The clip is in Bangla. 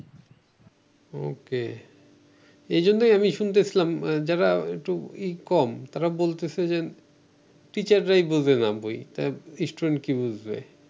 ওকে এইজন্যই আমি শুনতেছিলাম যারা একটু ই কম তারা বলতেছে যে teacher রাই বুজেনা বই তা স্টুডেন্ট কি বুঝবে